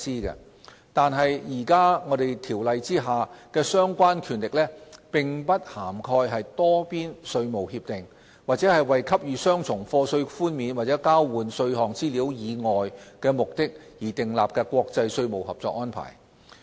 然而，現行條例下的相關權力並不涵蓋多邊稅務協定，或為給予雙重課稅寬免和交換稅項資料以外目的而訂立的國際稅務合作安排。